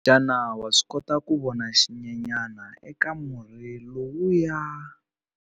Xana wa swi kota ku vona xinyenyana eka murhi lowuya?